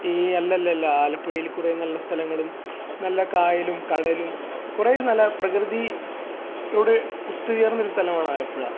ഏയ് അല്ലല്ലല്ലോ ആലപ്പുഴയിൽ കുറെ നല്ല സ്ഥലങ്ങളും നല്ല കായലും കടലും കുറേ നല്ല പ്രകൃതി യോട് ഒത്തുചേർന്ന് സ്ഥലമാണ് ആലപ്പുഴ